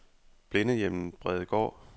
Blindehjemmet Bredegaard